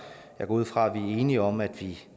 jeg går ud fra at vi er enige om at vi